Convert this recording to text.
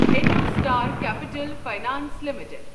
IndoStar capital finance limited